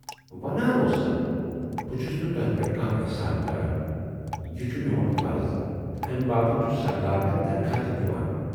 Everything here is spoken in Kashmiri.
ونان اوسسکھ، بہٕ چھُس نہٕ تۅہہِ پٮ۪ٹھ کانہہ ایحسان کَران، یہِ چھُ میون فرض تہٕ امہِ باپتھ چھُ سرکار مےٚ تنخاہ تہِ دِوان